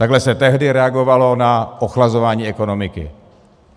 Takhle se tehdy reagovalo na ochlazování ekonomiky.